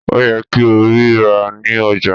Ó yẹ kí o rí i rà ní ọjà